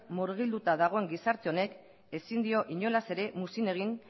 murgilduta dagoen gizarte honek ezin dio inolaz ere muzin egin